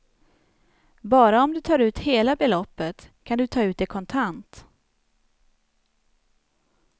Bara om du tar ut hela beloppet kan du ta ut det kontant.